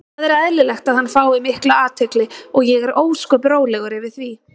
Það er eðlilegt að hann fái mikla athygli og ég er ósköp rólegur yfir því.